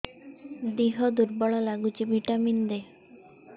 ଦିହ ଦୁର୍ବଳ ଲାଗୁଛି ଭିଟାମିନ ଦେ